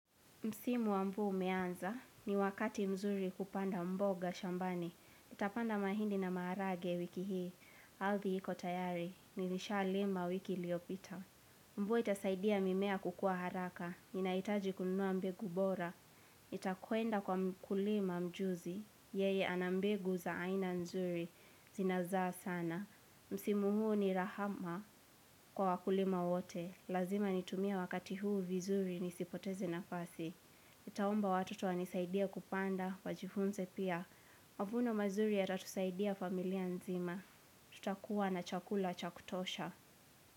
Msimu wamvua umeanza, ni wakati mzuri kupanda mboga shambani. Itapanda mahindi na maharage wiki hii, althi hiko tayari, nilisha lima wiki liopita. Mvua itasaidia mimea kukua haraka, ninaitaji kunua mbegu bora. Nitakwenda kwa mkulima mjuzi, yeye anambegu za aina nzuri, zinazaa sana. Msimu huu ni rahama kwa wakulima wote, lazima nitumia wakati huu vizuri nisipoteze na fasi. Nitaomba watoto wani saidie kupanda, wajifunze pia. Mavuno mazuri ya tatusaidia familia nzima. Tutakuwa na chakula chakutosha.